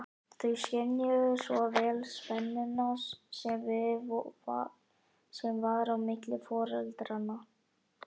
Þau skynjuðu svo vel spennuna sem var á milli foreldranna.